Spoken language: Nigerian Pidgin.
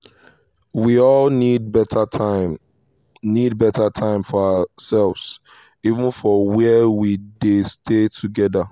we all need beta time need beta time for ourselves even for where we dey stay together.